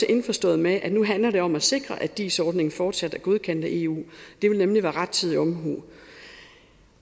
indforstået med at nu handler det om at sikre at dis ordningen fortsat er godkendt af eu det vil nemlig være rettidig omhu